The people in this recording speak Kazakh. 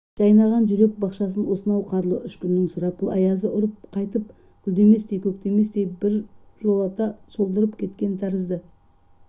жайнаған жүрек бақшасын осынау қарлы үш күннің сұрапыл аязы ұрып қайтып гүлдеместей көктеместей бір жолата солдырып кеткен тәрізді